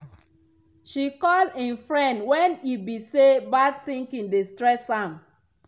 she call im friend wen e be say bad thinking dey stress am.